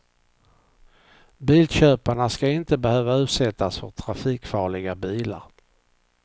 Bilköparna ska inte behöva utsättas för trafikfarliga bilar.